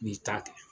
N'i ta kɛ